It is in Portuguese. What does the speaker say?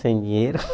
Sem dinheiro.